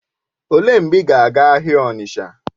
Olee mgbe ị gara aga ahịa Onitsha?